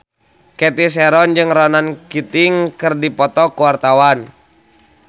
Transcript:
Cathy Sharon jeung Ronan Keating keur dipoto ku wartawan